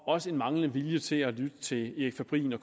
også en manglende vilje til at lytte til erik fabrin og